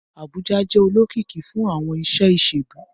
Abuja jẹ olokiki fun awọn iṣe iṣelu.